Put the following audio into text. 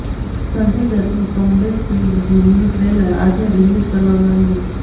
સંજય દત્તની comeback film ભૂમીનું trailer આજે રિલીઝ કરવામાં આવ્યું